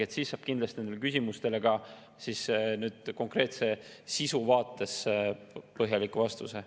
Siis saab kindlasti nendele küsimustele ka konkreetse sisu vaates põhjaliku vastuse.